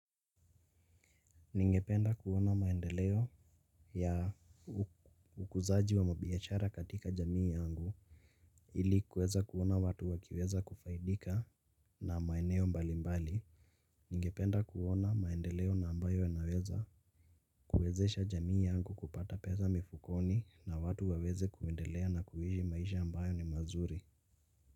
Ningependa kuona maendeleo ya ukuzaji wa mabiachara katika jamii yangu. Ilikuweza kuona watu wakiweza kufaidika na maeneo mbali mbali. Ningependa kuona maendeleo na ambayo anaweza kuwezesha jamii yangu kupata pesa mifukoni na watu waweze kuendelea na kuishi maisha ambayo ni mazuri.